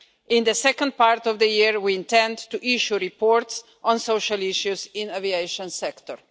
In the second part of the year, we intend to issue reports on social issues in the aviation sector.